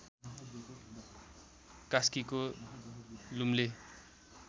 कास्कीको लुम्ले